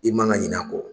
I man ka ɲina a kɔ